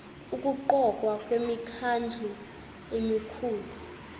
ukuqokwa kwemikhandlu emikhulu